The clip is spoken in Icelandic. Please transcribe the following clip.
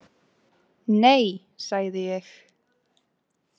Nei, sagði ég.